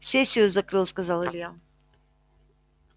сессию закрыл сказал илья